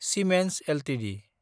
Siemens Ltd